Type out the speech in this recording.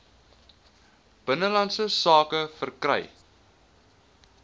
binnelandse sake verkry